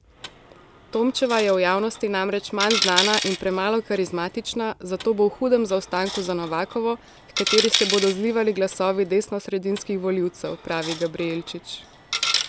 Tomčeva je v javnosti namreč manj znana in premalo karizmatična, zato bo v hudem zaostanku za Novakovo, h kateri se bodo zlivali glasovi desnosredinskih volivcev, pravi Gabrijelčič.